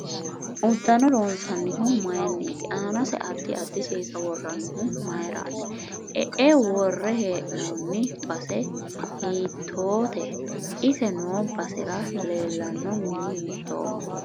Uddano loonsanihu mayiiniiti aanase addi addi seesa woroonihu mayiirati iae worre heenooni base hiitoote ise noo basera leelanno mini hiitooho